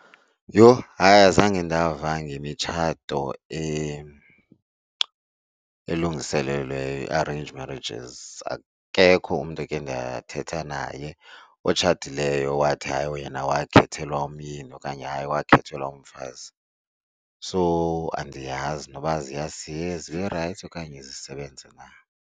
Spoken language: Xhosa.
Yho hayi, azange ndava ngemitshato elungiselelweyo, ii-arranged marriages. Akekho umntu eke ndathetha naye otshatileyo owathi hayi yena wakhethelwa umyeni okanye wakhethelwa mfazi. So andiyazi noba zirayithi okanye zisebenze na.